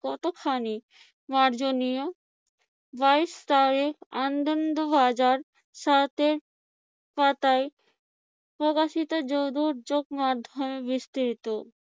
কতখানি মার্জনীয়? বাইশ তারিখ আনন্দ বাজার সাতের পাতায় প্রকাশিত মাধ্যমে বিস্তৃত।